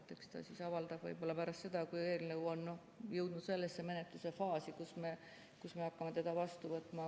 Eks ta siis avaldab võib-olla pärast seda, kui eelnõu on jõudnud sellesse menetluse faasi, kus me hakkame seda vastu võtma.